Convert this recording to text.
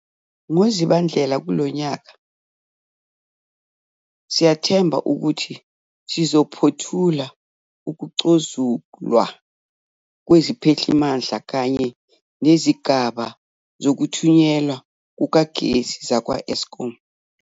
NgoZibandlela kulo nyaka siyathemba ukuthi sizophothula ukucozulwa kweziphehlimandla kanye nezigaba zokuthunyelwa kukagesi zakwa-Eskom.